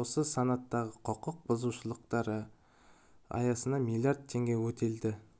осы санаттағы құқық бұзушылықтар аясында миллиард теңге өтелді